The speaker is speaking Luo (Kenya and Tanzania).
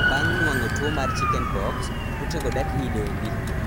bang' nuang'o tuwo mar chicken pox, kute go dak i dendi